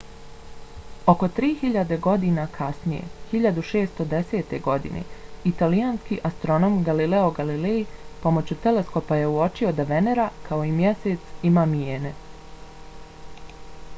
oko tri hiljade godina kasnije 1610. godine italijanski astronom galileo galilei pomoću teleskopa je uočio da venera kao i mjesec ima mijene